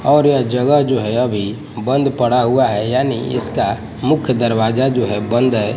और यह जगह जो है अभी बंद पड़ा हुआ है यानि इसका मुख्य दरवाजा जो है बंद है।